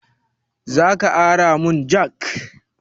Zaka ara mun jak?